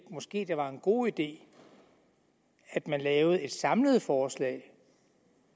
måske var en god idé at man lavede et samlet forslag